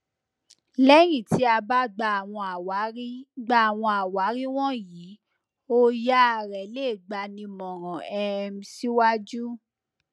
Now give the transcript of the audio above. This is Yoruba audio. lẹyìn ti a bá gba àwọn àwárí gba àwọn àwárí wọnyí òyàá rẹ le gbanímọràn um siwajú